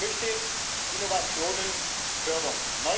Ich möchte Innovationen fördern.